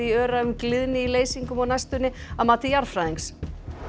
í Öræfum gliðni í leysingum á næstunni að mati jarðfræðings